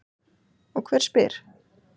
Og hver spyr?